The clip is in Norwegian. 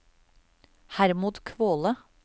Hermod Kvåle